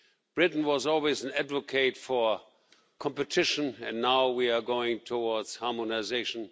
Britain was always an advocate for competition and now we are going towards harmonisation.